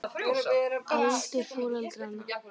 aldur foreldranna